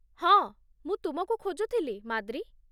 ହଁ, ମୁଁ ତୁମକୁ ଖୋଜୁଥିଲି, ମାଦ୍ରୀ।